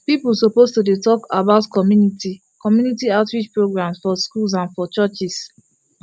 people suppose to dey talk about community community outreach programs for schools and for churches